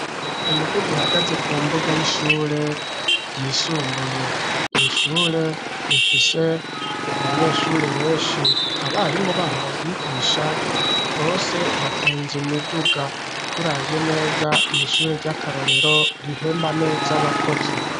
Imiduga ihagaze ku mbuga y'ishure ryisumbuye ishure rifise abanyeshure benshi, abarimo baho bagigisha bose batunze imiduga turavye neza n'ishure ry'akarorero rihemba neza abakozi.